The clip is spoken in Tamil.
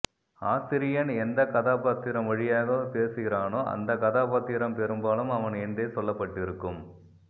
ஆசிரியன் எந்தக்கதாபாத்திரம் வழியாகப் பேசுகிறானோ அந்தக்கதாபாத்திரம் பெரும்பாலும் அவன் என்றே சொல்லப்பட்டிருக்கும்